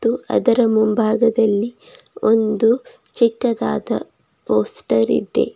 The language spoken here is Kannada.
ಅದರ ಮುಂಭಾಗದಲ್ಲಿ ಒಂದು ಚಿಕ್ಕದಾದ ಪೋಸ್ಟರ್ ಇದೆ.